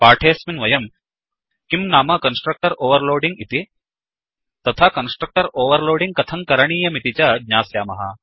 पाठेऽस्मिन् वयम् किं नाम कन्स्ट्रक्टर् ओवर्लोडिङ्ग् इति तथा कन्स्ट्रक्टर् ओवर्लोडिङ्ग् कथं करणीयमिति च ज्ञास्यामः